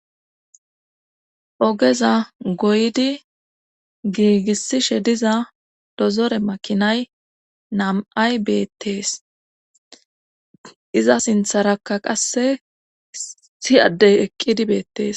Ogeza goydi giigisishe diza dozore makinay nam7ay beettees iza sintharakka qasse issi adde eqqidi beettees.